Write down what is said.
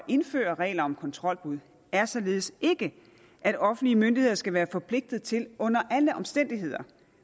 indføre regler om kontrolbud er således ikke at offentlige myndigheder skal være forpligtet til under alle omstændigheder